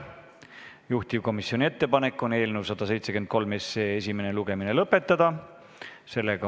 Juhtivkomisjoni ettepanek on eelnõu 173 esimene lugemine lõpetada.